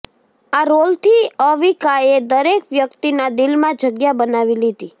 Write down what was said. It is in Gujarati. આ રોલથી અવિકાએ દરેક વ્યક્તિના દિલમાં જગ્યા બનાવી લીધી